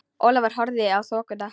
Ólafur horfði í þokuna.